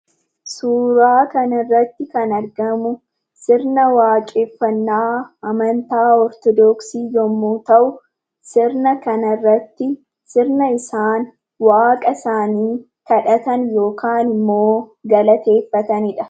Suuraa kana irratti kan argamu, sirna waaqeffannaa amantaa Ortodoksii yemmuu ta'u sirna kana irratti sirna isaan waaqa isaanii kadhatan yookaan immoo galateeffatanidha.